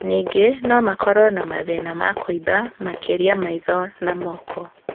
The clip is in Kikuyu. Nyingĩ nomakorwo na mathĩna ma kũimba, makĩria maitho na moko